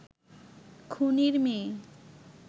খুনির মেয়ে